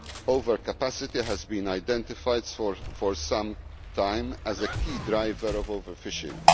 Overcapacity has been identified for some time as a key driver of overfishing.